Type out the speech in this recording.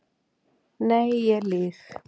Nei ég lýg.